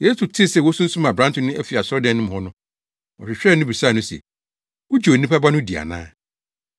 Yesu tee sɛ wɔasunsum aberante no afi asɔredan no mu hɔ no, ɔhwehwɛɛ no bisaa no se, “Wugye Onipa Ba no di ana?”